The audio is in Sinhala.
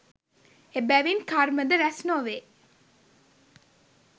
එබැවින් කර්මද රැස් නොවේ